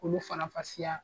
Olu faranfasiya